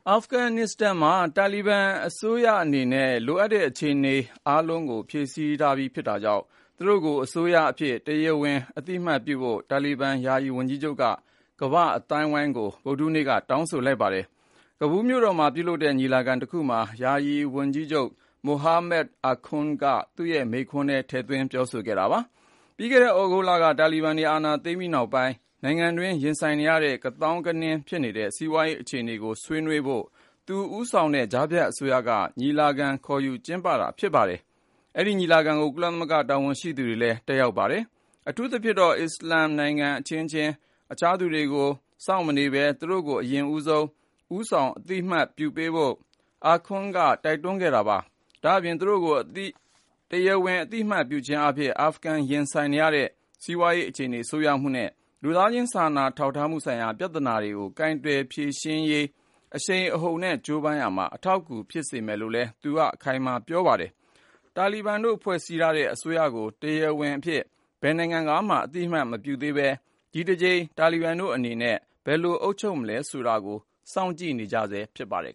အာဖဂန်နစ္စတန်အစိုးရသစ်မှာ လိုအပ်တဲ့ အခြေအနေအားလုံးဖြည့်ဆည်းထားပြီးဖြစ်တာကြောင့် သူတို့ကို အစိုးရအဖြစ် တရားဝင်အသိအမှတ်ပြုဖို့ တာလီဘန်ယာယီဝန်ကြီးချုပ်က ကမ္ဘာ့အသိုင်းအဝန်းကို ဗုဒ္ဓဟူးနေ့က တောင်းဆိုလိုက်ပါတယ်။ ကာဘူလ်မြို့တော်မှာပြုလုပ်တဲ့ ညီလာခံတခုမှာ ယာယီဝန်ကြီးချုပ် Mohammad Hassan Akhund သူ့ရဲ့ မိန့်ခွန်းထဲ ထည့်သွင်းပြောဆိုခဲ့တာပါ။ ပြီးခဲ့တဲ့ သြဂုတ်လက တာလီဘန်တွေ အာဏာသိမ်းပြီးနောက်ပိုင်း နိုင်ငံတွင်း ရင်ဆိုင်နေရတဲ့ ကသောင်းကနင်းဖြစ်နေတဲ့ စီးပွားရေးအခြေအနေကို ဆွေးနွေးဖို့ သူဦးဆောင်တဲ့ ကြားဖြတ်အစိုးရက ညီလာခံခေါ်ယူကျင်းပတာဖြစ်ပါတယ်။ အဲဒီညီလာခံကို ကုလသမဂ္ဂတာဝန်ရှိသူတွေလည်း တက်ရောက်ခဲ့ကြပါတယ်။ အထူးသဖြင့် အစ္စလာမ်နိုင်ငံအချင်းချင်း အခြားသူတွေကို စောင့်မနေဘဲ သူတို့ကို အရင်ဆုံး ဦးဆောင် အသိအမှတ်ပြုဖို့ Akhund က တိုက်တွန်းခဲ့ပါတယ်။ ဒါအပြင် သူတို့ကို တရားဝင်အသိအမှတ်ပြုခြင်းအားဖြင့် အာဖဂန် ရင်ဆိုင်နေရတဲ့ စီးပွားရေး အခြေအနေ ဆိုးရွားမှုနဲ့ လူသာချင်းစာနာထောက်ထားမှုဆိုင်ရာ ပြဿနာတွေကို ကိုင်တွယ်ဖြေရှင်းရေး အရှိန်အဟုန်နဲ့ကြိုးပမ်းရာမှာ အထောက်အကူဖြစ်စေမယ်လို့ လည်း သူက အခိုင်အမာပြောကြားခဲ့ပါတယ်။ တာလီဘန်တို့ဖွဲ့ထားတဲ့ အစိုးရကို တရားဝင်အဖြစ် ဘယ်နိုင်ငံကမှ အသိအမှတ်မပြုသေးပဲ ဒီတကြိမ် တာလီဘန်တို့အနေနဲ့ ဘယ်လိုအုပ်ချုပ်မလဲဆိုတာကို စောင့်ကြည့်နေကြဆဲရှိပါတယ်